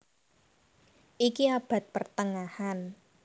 Iki abad pertengahan